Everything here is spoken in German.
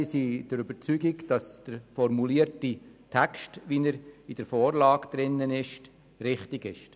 Wir sind der Überzeugung, dass der Text, wie er vorliegt, richtig ist.